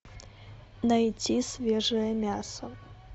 найти свежее мясо